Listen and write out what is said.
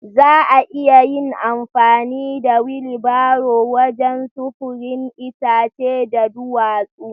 Za a iya yin amfani da wilibaro wajen sufurin itace da duwatsu